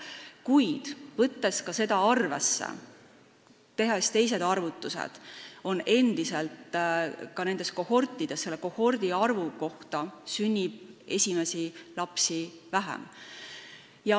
Kuid tehes teisi arvutusi, on näha, et selle kohordi kohta sünnib esimesi lapsi vähem.